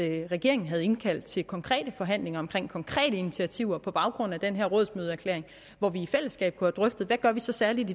regeringen havde indkaldt til konkrete forhandlinger om konkrete initiativer på baggrund af den her rådsmødeerklæring hvor vi i fællesskab kunne have drøftet hvad vi så særligt